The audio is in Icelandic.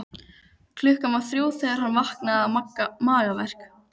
Klukkan var þrjú þegar hann vaknaði með magaverk.